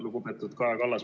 Lugupeetud Kaja Kallas!